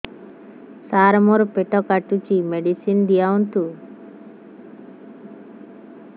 ସାର ମୋର ପେଟ କାଟୁଚି ମେଡିସିନ ଦିଆଉନ୍ତୁ